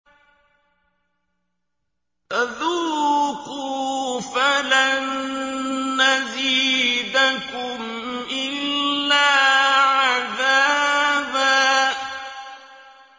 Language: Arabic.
فَذُوقُوا فَلَن نَّزِيدَكُمْ إِلَّا عَذَابًا